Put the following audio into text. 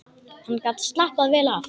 Hann gat slappað vel af.